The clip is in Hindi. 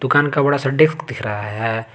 दुकान का बड़ा सा डेस्क दिख रहा है।